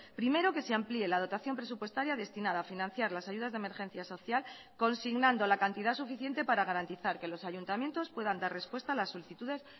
primero que se amplíe la dotación presupuestaria destinada a financiar las ayudas de emergencia social consignando la cantidad suficiente para garantizar que los ayuntamientos puedan dar respuesta a las solicitudes